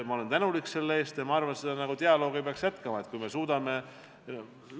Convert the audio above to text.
Ma olen selle eest tänulik ja arvan, et seda dialoogi peaks jätkama, kui me suudame.